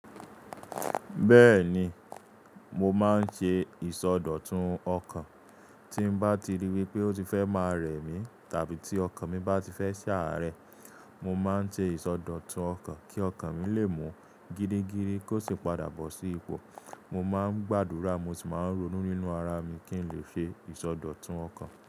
Bẹ́ẹ̀ni, mo máa ń ṣe ìsọdọ̀tun ọkàn. Tí mo bá ti rí wípé ó ti fẹ́ máa rẹ̀ mí, tàbí tí ọkàn mi bá ti fẹ́ ṣe àárẹ̀, mo máa ń ṣe ìsọdọ̀tun ọkàn kí ọkàn mi lè mú gidi giri kó sì padà bọ́ sí ipò. Mo máa ń gbàdúrà, mo sì máa ń ronú nínú ara mi kí n lè ṣe ìsọdọ̀tun ọkàn.